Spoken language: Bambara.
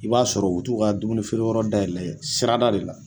I b'a sɔrɔ u bu t'u ka dumuni feere yɔrɔ dayɛlɛ sira da de la.